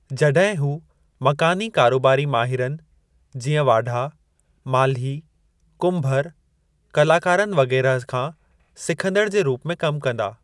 जॾहिं हू मकानी कारोबारी माहिरनि, जीअं वाढा, माल्ही, कुम्भर, कलाकारनि वगैरह खां सिखंदड़ जे रूप में कमु कंदा।